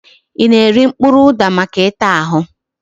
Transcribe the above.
I na-eri mkpụrụ ụda maka ịta ahụ?